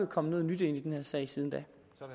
kommet noget nyt ind i den her sag siden da